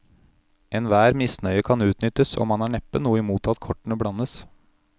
Enhver misnøye kan utnyttes, og man har neppe noe imot at kortene blandes.